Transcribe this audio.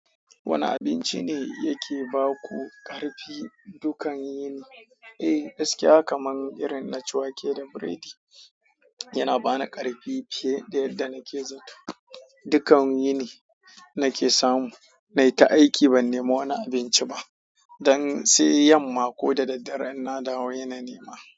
Wane abinci ne yake ba ku ƙarfi dukan yini? Eh, gaskiya kamar irin na ciwake da biredi yana ba ni ƙarfi fiye da yadda na ke zaton. Dukan yini na ke samu, na yi ta aiki ban nema wani abinci ba. Don sai yamma ko da daddare ina dawo ina nema.